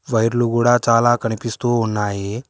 వైర్లు కూడా చాలా కనిపిస్తూ ఉన్నాయి.